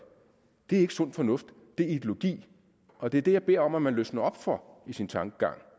det er ikke sund fornuft det er ideologi og det er det jeg beder om at man løsner op for i sin tankegang